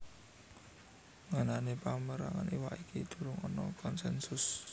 Ngenani pamérangan iwak iki durung ana konsènsus